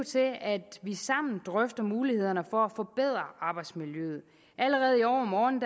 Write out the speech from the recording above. til at vi sammen drøfter mulighederne for at forbedre arbejdsmiljøet allerede i overmorgen